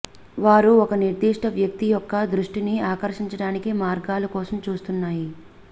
వారు ఒక నిర్దిష్ట వ్యక్తి యొక్క దృష్టిని ఆకర్షించడానికి మార్గాలు కోసం చూస్తున్నాయి